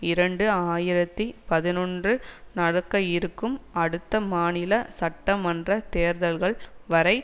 இரண்டு ஆயிரத்தி பதினொன்று நடக்க இருக்கும் அடுத்த மாநில சட்ட மன்ற தேர்தல்கள் வரை